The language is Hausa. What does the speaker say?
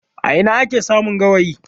A ina ake samun gawayi?